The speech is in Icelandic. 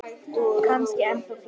Kannski ennþá fleiri.